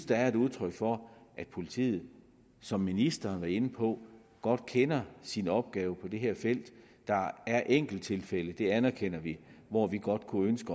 det er et udtryk for at politiet som ministeren var inde på godt kender sin opgave på det her felt der er enkelttilfælde det anerkender vi hvor man godt kunne ønske